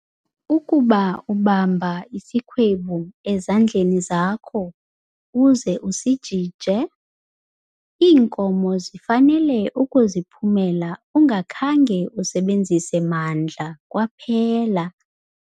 Ukuba ubamba isikhwebu ezandleni zakho uze usijije, iinkozo zifanele ukuziphumela ungakhange usebenzise mandla kwaphela.